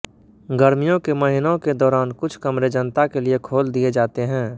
गर्मियों के महीनों के दौरान कुछ कमरे जनता के लिए खोल दिए जाते हैं